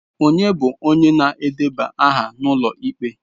Ọnye bụ onye na-edeba aha n'ụlọ ikpe?